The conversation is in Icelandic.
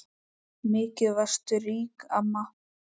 Mikið varstu rík amma.